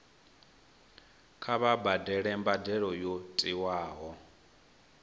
kha vha badele mbadelo yo tiwaho